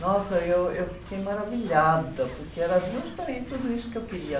Nossa, eu, eu fiquei maravilhada, porque era justamente tudo isso que eu queria.